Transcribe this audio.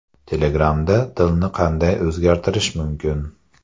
Telegram’da tilni qanday o‘zgartirish mumkin?